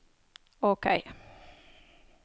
OK